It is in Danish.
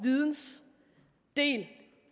det